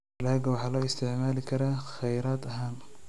Dalagga waxaa loo isticmaali karaa kheyraad ahaan.